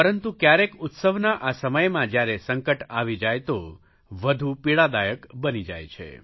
પરંતુ કયારેક ઉત્સવના આ સમયમાં જયારે સંકટ આવી જાય તો વધુ પીડાદાયક બની જાય છે